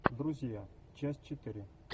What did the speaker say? друзья часть четыре